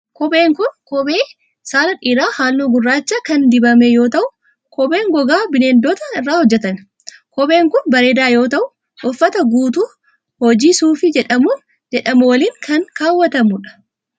Kophee kun, kophee saala dhiiraa haalluu gurraacha kan dibame yoo ta'u, kopheen gogaa bineeldotaa irraa hojjatame. Kopheen kun bareedaa yoo ta'u, uffata guutuu hojii suufii jedhamuun beekamu waliin kan kaawwatamuu dha.